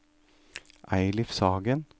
Eilif Sagen